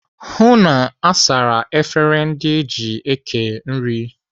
Hụụ na asara efere ndị eji kee nri!